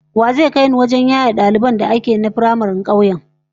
Wa zai kai ni wajen da ake yaye daliban firamaren kauyen?